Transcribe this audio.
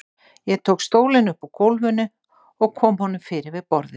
Ég tók stólinn upp úr gólfinu og kom honum fyrir við borðið.